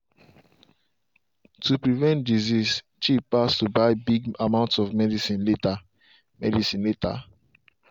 to prevent disease cheap pass to buy big amounts of medicine later. medicine later.